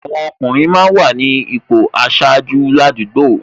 Àwọn ọkùnrin máa ń wà ní ipò aṣáájú ní àdúgbò